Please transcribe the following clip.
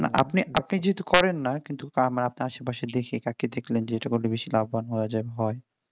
না আপনি আপনি যেহেতু করেন না কিন্তু তা না আপনার আশেপাশে তাকিয়ে দেখলেন কোনটা বেশি লাভবান হওয়া যায় হয়